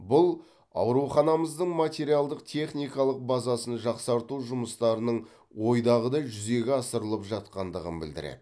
бұл ауруханымыздың материалдық техникалық базасын жақсарту жұмыстарының ойдағыдай жүзеге асырылып жатқандығын білдіреді